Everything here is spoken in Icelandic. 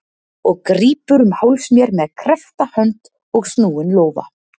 Og grípur um háls mér með kreppta hönd og snúinn lófa.